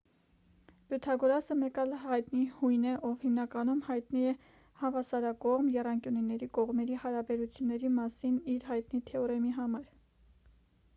պյութագորասը մեկ այլ հայտնի հույն է ով հիմնականում հայտնի է հավասարակողմ եռանկյունների կողմերի հարաբերությունների մասին իր հայտնի թեորեմի համար